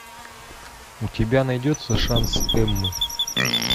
у тебя найдется шанс эммы